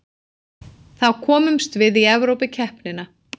Þá komumst við í Evrópukeppnina